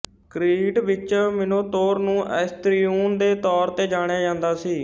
Crete ਵਿਚ Minotaur ਨੂੰ Asterion ਦੇ ਤੌਰ ਤੇ ਜਾਣਿਆ ਜਾਂਦਾ ਸੀ